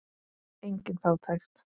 Engin fátækt.